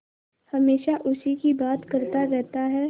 हमेशा उसी की बात करता रहता है